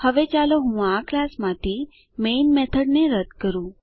હવે ચાલો હું આ ક્લાસ માંથી મેઈન મેથડ ને રદ્દ કરું